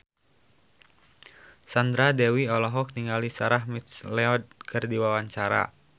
Sandra Dewi olohok ningali Sarah McLeod keur diwawancara